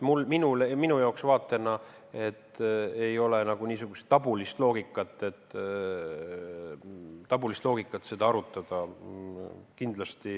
Minul ei ole kindlasti selle arutamise suhtes nagu niisugust tabulist loogikat.